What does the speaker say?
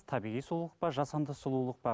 табиғи сұлулық па жасанды сұлулық па